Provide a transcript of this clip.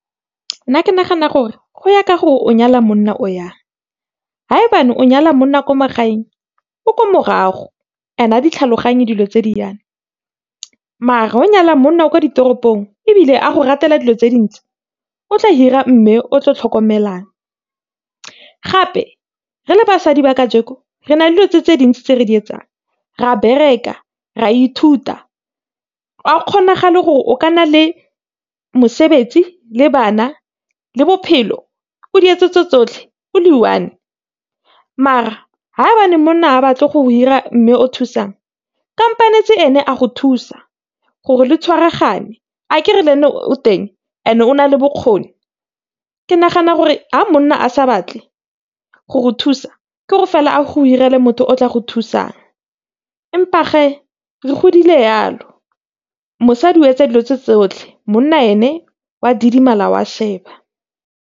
Nna ke nagana gore go ya ka gore o nyala monna o yang ha e ba o nyala monna wa ko magaeng o ko morago, ga di tlhaloganye dilo tse di yana, mare ga nyala monna wa kwa ditoropong ebile a go ratela dilo tse dintle o tla hira mme o tla tlhokomelang. Gape re le basadi ba ka re na dilo tse tse dintsi tse re di etsang re a bereka, re a ithuta, ga go kgonagale gore o ka nna le mosebetsi le bana le bophelo o di etse tse tsotlhe o le i-one. Mara ba ne monna a batle go hira mme o thusang ene a go thusa gore le tshwaragane akere le ene o teng and-e o nale bokgoni. Ke nagana gore ga monna a sa batle go go thusa ke gore fela a go hirele motho o tla go thusang. Empa ge re godile yalo mosadi o etsa dilo tse tsotlhe monna ene o a didimala o a sheba.